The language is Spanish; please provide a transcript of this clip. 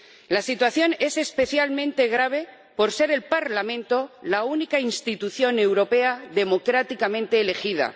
La situación es especialmente grave por ser el Parlamento la única institución europea democráticamente elegida.